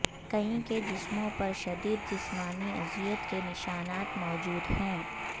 کئی کے جسموں پر شدید جسمانی اذیت کے نشانات موجود ہیں